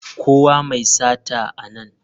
Kawo mai sata a nan!